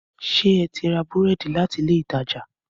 Ṣé eti ra búrẹ́dì láti ilé ìtajà?